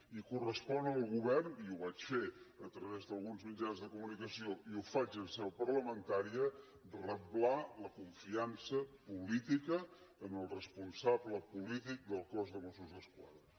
i correspon al govern i ho vaig fer a través d’alguns mitjans de comunicació i ho faig en seu parlamentària reblar la confiança política en el responsable polític del cos de mossos d’esquadra